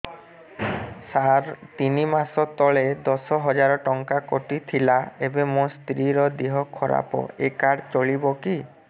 ସାର ତିନି ମାସ ତଳେ ଦଶ ହଜାର ଟଙ୍କା କଟି ଥିଲା ଏବେ ମୋ ସ୍ତ୍ରୀ ର ଦିହ ଖରାପ ଏ କାର୍ଡ ଚଳିବକି